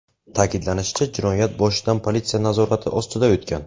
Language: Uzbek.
Ta’kidlanishicha, jinoyat boshidan politsiya nazorati ostida o‘tgan.